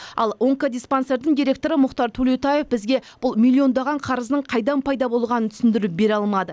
ал онкодиспансердің директоры мұхтар төлеутаев бізге бұл миллиондаған қарыздың қайдан пайда болғанын түсіндіріп бере алмады